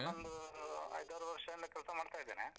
ನಾನೊಂದು ಐದಾರು ವರ್ಷದಿಂದ ಕೆಲ್ಸ ಮಾಡ್ತಾ ಇದ್ದೇನೆ.